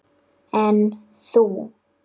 En þú?